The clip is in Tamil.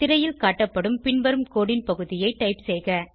திரையில் காட்டப்படும் பின்வரும் கோடு ன் பகுதியை டைப் செய்க